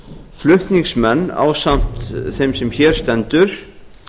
flutningsmenn ásamt þeim sem hér stendur